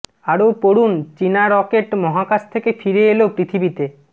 আরও পড়ুন চিনা রকেট মহাকাশ থেকে ফিরে এল পৃথিবীতে